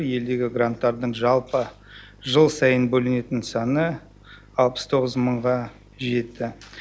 елдегі гранттардың жалпы жыл сайын бөлінетін саны алпыс тоғыз мыңға жетті